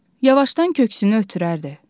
Yavaşdan köksünü ötürərdi.